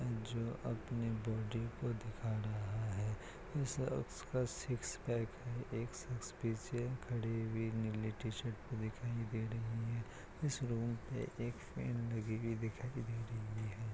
जो अपनी बॉडी को दिखा रहा है उस-उसका सिक्स पैक है एक शख्स पीछे खड़ी हुई नीली टी-शर्ट में दिखाई दे रही है। इस रूम में एक फैन लगी हुई दिखाई दे रही है।